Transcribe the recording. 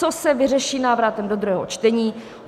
Co se vyřeší návratem do druhého čtení?